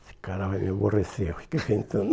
Esse cara vai me aborrecer, eu fiquei pensando...